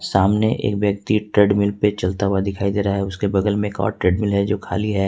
सामने एक व्यक्ति ट्रेडमिल पे चलता हुआ दिखाई दे रहा है उसके बगल में एक और ट्रेडमिल है जो खाली है।